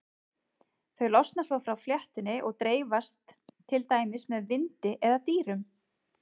Þau losna svo frá fléttunni og dreifast til dæmis með vindi eða dýrum.